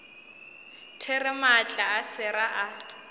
there maatla a sera a